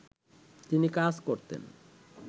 তিনি কাজ করতেন